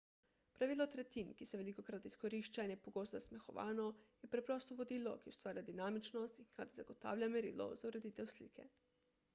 pravilo tretjin ki se velikokrat izkorišča in je pogosto zasmehovano je preprosto vodilo ki ustvarja dinamičnost in hkrati zagotavlja merilo za ureditev slike